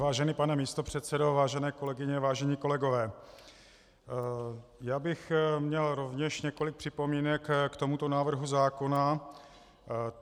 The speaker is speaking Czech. Vážený pane místopředsedo, vážené kolegyně, vážení kolegové, já bych měl rovněž několik připomínek k tomuto návrhu zákona.